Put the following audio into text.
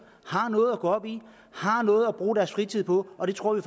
har noget at gå op i har noget at bruge deres fritid på og det tror